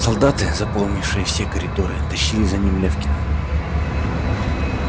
солдаты заполнившие все коридоры тащили за ним лефкина